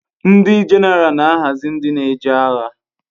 Ndi jeneral na ahazi ndi n'eje agha